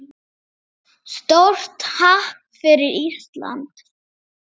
Stórt happ fyrir Ísland